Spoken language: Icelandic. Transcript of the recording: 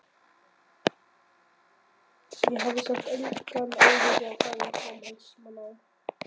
Ég hafði samt engan áhuga á að fara í framhaldsnám.